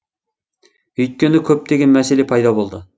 өйткені көптеген мәселе пайда болды